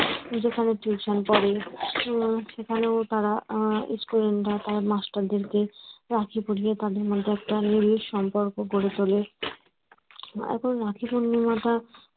যেখানে tuition পড়ে সেখানে তারা student রা তারা master দেরকে, রাখি পরিয়ে তাদের মধ্যে একটা নিবিড় সম্পর্ক গড়ে তোলে এখন রাখি পূর্ণিমাটা